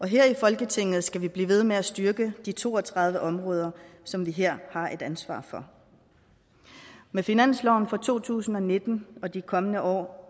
her i folketinget skal vi blive ved med at styrke de to og tredive områder som vi her har et ansvar for med finansloven for to tusind og nitten og de kommende år